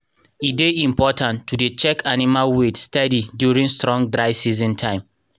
e dey important to dey check animal weight steady during strong dry season time.